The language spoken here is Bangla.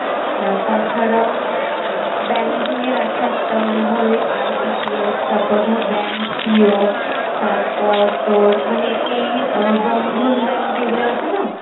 হ্যাঁ তাছাড়াও banking এর আছে একটা মানে ধর ওই IBPS তারপর bank PO ~তারপর তোর মানে এই বন্ধন bank এইগুলো আছে না!